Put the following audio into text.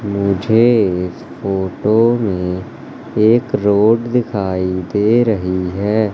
मुझे फोटो में एक रोड दिखाई दे रही है।